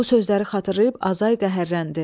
Bu sözləri xatırlayıb Azay qəhərləndi.